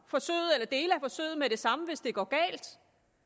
forsøget med det samme hvis det går galt